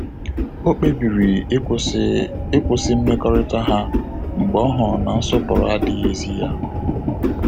O kpebiri ịkwụsị ịkwụsị mmekọrịta ha mgbe ọ hụrụ na nsọpụrụ adịghịzi ya